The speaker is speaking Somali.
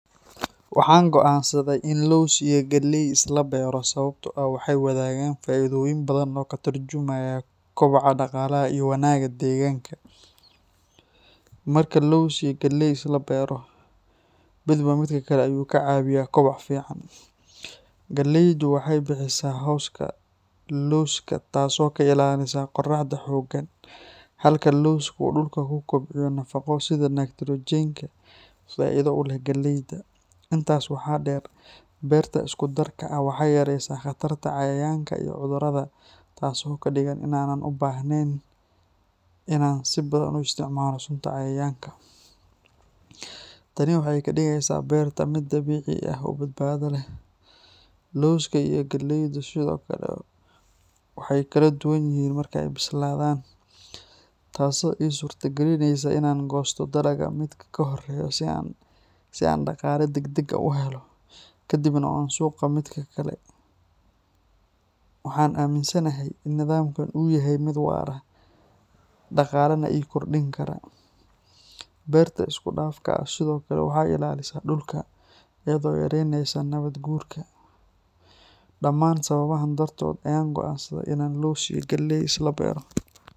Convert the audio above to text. Waxaan go’aansaday in aan laws iyo galey isla beero sababtoo ah waxay wadaagaan faa’iidooyin badan oo ka tarjumaya koboca dhaqaalaha iyo wanaagga deegaanka. Marka laws iyo galey la isla beero, midba midka kale ayuu ka caawiyaa koboc fiican. Galeydu waxay bixisaa hooska lawska taasoo ka ilaalisa qorraxda xooggan, halka lawsku uu dhulka ku kobciyo nafaqo sida nitrogen-ka oo faa’iido u leh galeyda. Intaas waxaa dheer, beerta isku darka ah waxay yareysaa khatarta cayayaanka iyo cudurrada, taasoo ka dhigan in aanan u baahnayn in aan si badan u isticmaalo sunta cayayaanka. Tani waxay ka dhigeysaa beerta mid dabiici ah oo badbaado leh. Lawska iyo galeydu sidoo kale waxay kala duwan yihiin marka ay bislaadaan, taasoo ii suurta galinaysa in aan goosto dalagga mid ka horreeya si aan dhaqaale degdeg ah u helo, kadibna aan sugo midka kale. Waxaan aaminsanahay in nidaamkan uu yahay mid waara, dhaqaalena ii kordhin kara. Beerta isku dhafka ah sidoo kale waxay ilaalisaa dhulka, iyadoo yareynaysa nabaad guurka. Dhammaan sababahan dartood ayaan go’aansaday in aan laws iyo galey isla beero.